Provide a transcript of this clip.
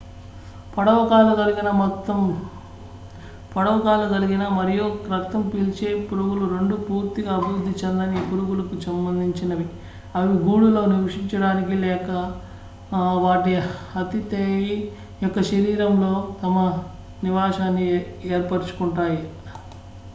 పొడవు కాళ్లు కలిగిన మరియు రక్తం పిల్చే పురుగులు రెండూ పూర్తిగా అభివృద్ధి చెందని పురుగులకు సంబందించినవి అవి గూడులో నివసించడానికి లేదా వాటి అథిదెయి యొక్క శరీరంలో తమ నివాసాన్ని ఏర్పరుచుకుంటాయి